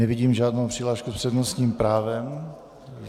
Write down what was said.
Nevidím žádnou přihlášku s přednostním právem.